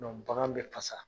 bagan bɛ fasa.